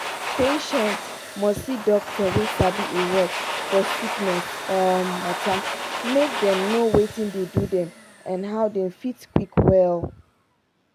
patient must see doctor wey sabi e work for sickness um matter make dem know watin dey do dem and how dem fit quick well.